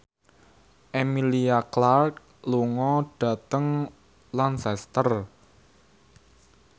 Emilia Clarke lunga dhateng Lancaster